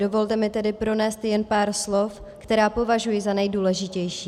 Dovolte mi tedy pronést jen pár slov, která považuji za nejdůležitější.